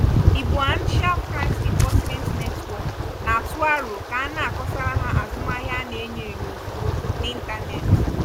iboancial crimes enforcement network na-atụ aro ka a na-akọsara ha azụmahịa a na-enyo enyo ozugbo na ịntanetị.